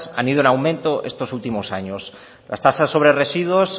han ido en aumento estos últimos años las tasas sobre residuos